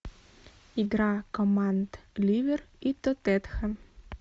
игра команд ливер и тоттенхэм